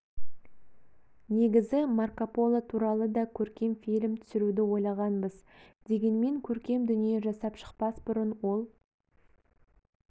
негізі марко поло туралы да көркем фильм түсіруді ойлағанбыз дегенмен көркем дүние жасап шықпас бұрын ол